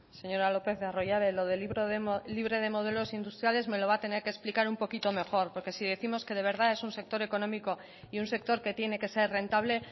señora lópez de arroyabe lo de libre de modelo industriales me lo va a tener que explicar un poquito mejor porque si décimos que de verdad es un sector económico y un sector que tiene que ser rentable